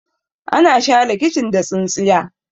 ana share kicin da tsintsiya